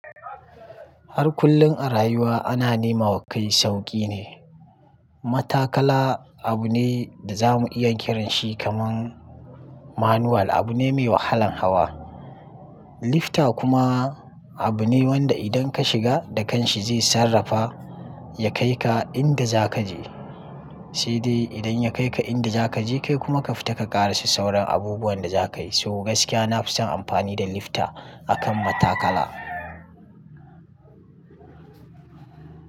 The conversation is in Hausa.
Har kullum a rayuwa ana nemawa kai sauƙi ne. Mataƙala abu ne da za mu iya ƙiran shi kaman manual, abu ne mai wahalan hawa. Lifta kuma abu ne wanda idan ka shiga da kanshi zai sarrafa ya kai ka inda za ka je. Sai dai idan ya kai ka inda za ka je kai kuma ka fita ka ƙara sa sauran abubuwan da za ka yi. So gaskiya na fi son amfani da lifta akan matakala.